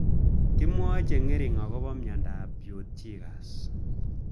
Kimwae cheng'ering' akopo miandop Peutz Jagers